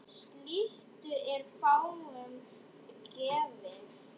Slíkt er fáum gefið.